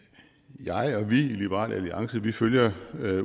jeg og vi i liberal alliance følger